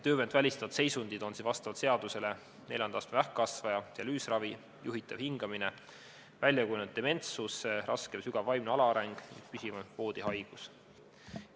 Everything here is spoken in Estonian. Töövõimet välistavad seisundid on vastavalt seadusele neljanda astme vähkkasvaja, dialüüsravi, juhitav hingamine, väljakujunenud dementsus, raske või sügav vaimne alaareng, püsiv voodihaigus.